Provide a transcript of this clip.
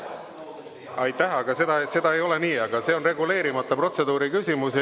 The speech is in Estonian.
Aitäh, aga seda ei ole nii, aga see on reguleerimata protseduuri küsimus.